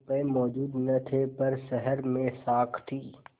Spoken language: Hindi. रुपये मौजूद न थे पर शहर में साख थी